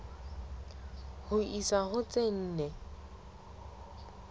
ho isa ho tse nne